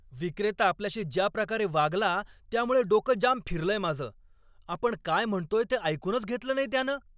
विक्रेता आपल्याशी ज्या प्रकारे वागला त्यामुळे डोकं जाम फिरलंय माझं, आपण काय म्हणतोय ते ऐकूनच घेतलं नाही त्यानं.